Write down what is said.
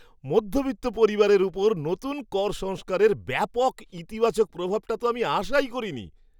মধ্যবিত্ত পরিবারের ওপর নতুন কর সংস্কারের ব্যাপক ইতিবাচক প্রভাবটা তো আমি আশাই করিনি।